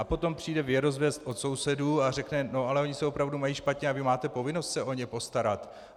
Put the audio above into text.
A potom přijde věrozvěst od sousedů a řekne: "No, ale oni se opravdu mají špatně a vy máte povinnost se o ně postarat.